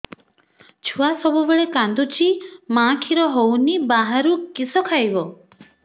ଛୁଆ ସବୁବେଳେ କାନ୍ଦୁଚି ମା ଖିର ହଉନି ବାହାରୁ କିଷ ଖାଇବ